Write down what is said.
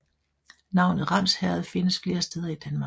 Navnet Ramsherred findes flere steder i Danmark